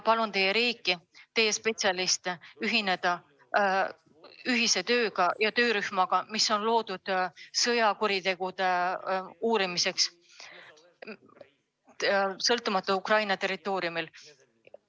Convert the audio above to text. Palun teie riigil, teie spetsialistidel ühineda töörühmaga, mis on loodud Ukraina territooriumil sõjakuritegude uurimiseks.